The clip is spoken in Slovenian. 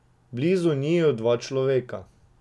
Blizu njiju dva človeka.